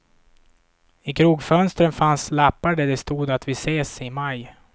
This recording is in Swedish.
I krogfönstren fanns lappar där det stod att vi ses i maj.